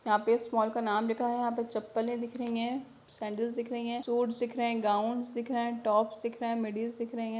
यहां पे इस मॉल का नाम लिखा है यहां पे चप्पले दिख रही है सैंडल्स दिख रही है सूट्स दिख रहे हैं गाउंस दिख रहे है टॉप्स दिख रहे है दिख रही है।